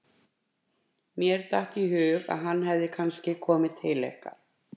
Mér datt í hug að hann hefði kannski komið til ykkar.